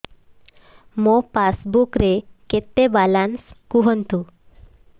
ମୋ ପାସବୁକ୍ ରେ କେତେ ବାଲାନ୍ସ କୁହନ୍ତୁ